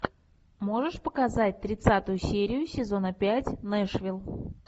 можешь показать тридцатую серию сезона пять нэшвилл